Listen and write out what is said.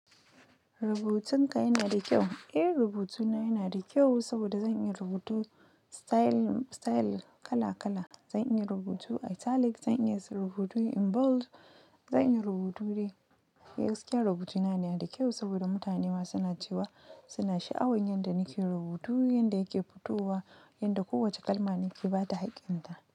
Rubutunka yana da kyau? Ejhbrubuta yana da kyau sabora zanbiya rubutun style kala kala. Zan iya rubutu italic, zan iya rubutu in bold, zan iya rubutu dai. Gaskiya rubutuna yana da kyau saboda mutane ma suna cewa suna sha'awar yanda nake rubutu, yanda yake fitowa, yanda kowace kalma nake ba da haƙƙinta.